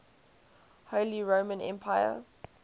holy roman empire